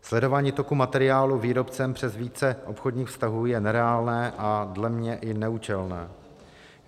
Sledování toku materiálů výrobcem přes více obchodních vztahů je nereálné a dle mě i neúčelné.